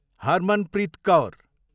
Harmanpreet Kaur